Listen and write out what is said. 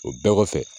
O bɛɛ kɔfɛ